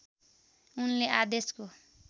उनले आदेशको